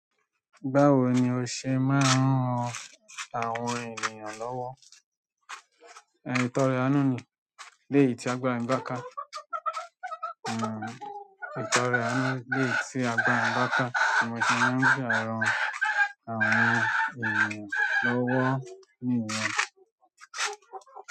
Báwo ni o ṣe máa ń ran àwọn ènìyàn lọ́wọ́? Ìtọ́rẹ àánú ni léyìí tí agbára ń bá ká, ìtàn rẹ àánú leyi ti agbára mi baka ni mo ṣe maa n gba àrùn àwọn ènìyàn lọwọ niyẹn.